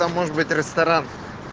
там может быть ресторан